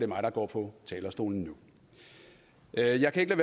mig der går på talerstolen nu jeg kan ikke